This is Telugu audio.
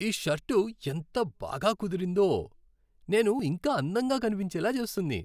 ఈ షర్టు ఎంత బాగా కుదిరిందో. నేను ఇంకా అందంగా కనిపించేలా చేస్తుంది.